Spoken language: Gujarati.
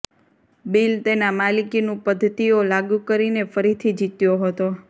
બિલ તેના માલિકીનું પદ્ધતિઓ લાગુ કરીને ફરીથી જીત્યો હતો